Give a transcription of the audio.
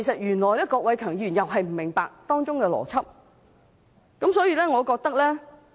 原來郭偉强議員也不明白當中的邏輯。